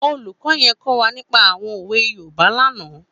Ólúkò yèn kò wá nípà áwòn ówé Yórùbá làná